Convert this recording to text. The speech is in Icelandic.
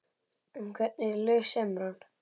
En hvernig lög semur hann?